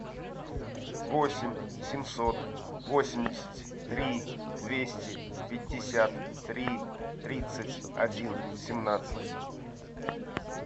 восемь семьсот восемьдесят три двести пятьдесят три тридцать один семнадцать